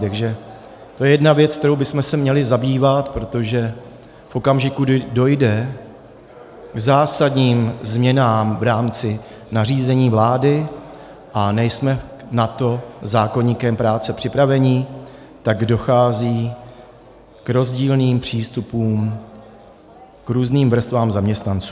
Takže to je jedna věc, kterou bychom se měli zabývat, protože v okamžiku, kdy dojde k zásadním změnám v rámci nařízení vlády a nejsme na to zákoníkem práce připraveni, tak dochází k rozdílným přístupům k různým vrstvám zaměstnanců.